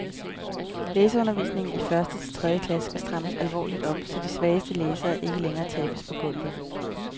Læseundervisningen i første til tredje klasse skal strammes alvorligt op, så de svageste læsere ikke længere tabes på gulvet.